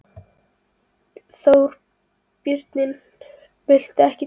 Þorbjörn: Viltu ekki tjá þig?